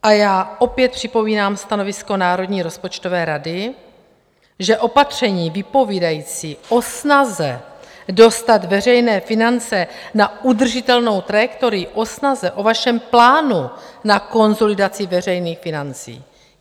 A já opět připomínám stanovisko Národní rozpočtové rady, že opatření vypovídající o snaze dostat veřejné finance na udržitelnou trajektorii, o snaze, o vašem plánu na konsolidaci veřejných financí...